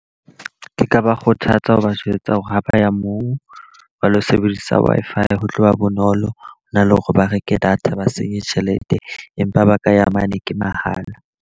Ke ka ba kgothatsa ho ba jwetsa hore ha ba ya moo ba lo sebedisa Wi m-Fi ho tloha bonolo hona le hore ba reke data ba senye tjhelete. Empa ba ka ya mane ke mahala.